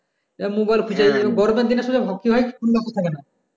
এই mobile খুজে থাকে না